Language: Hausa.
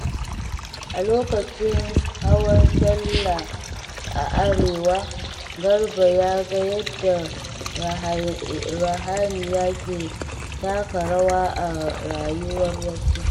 A lokacin hawan Sallah a Arewa, Garba ya ga yadda ruhaniya ke taka rawa a rayuwar wasu.